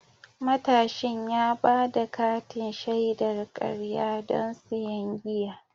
Matashin ya ba da katin shaidar karya don siyan giya.